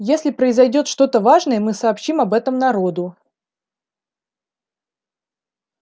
если произойдёт что-то важное мы сообщим об этом народу